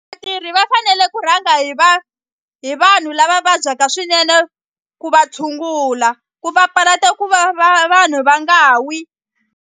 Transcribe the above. va fanele ku rhanga hi hi vanhu lava vabyaka swinene ku va tshungula ku papalata ku va vanhu va nga wi.